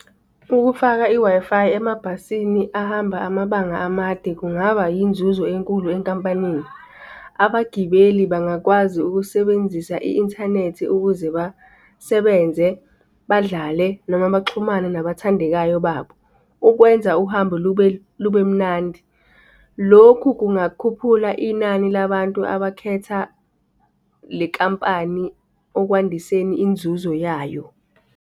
Ukufaka i-Wi-Fi emabhasini ahamba amabanga amade kungaba yinzuzo enkulu enkampanini. Abagibeli bangakwazi ukusebenzisa i-inthanethi ukuze basebenze badlale noma baxhumane nabathandekayo babo. Ukwenza uhambo lube lubemnandi. Lokhu kungakhuphula inani labantu abakhetha le nkampani okwandiseni inzuzo yayo.